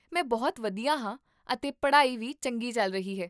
ਮੈਂ ਬਹੁਤ ਵਧੀਆ ਹਾਂ ਅਤੇ ਪੜ੍ਹਾਈ ਵੀ ਚੰਗੀ ਚੱਲ ਰਹੀ ਹੈ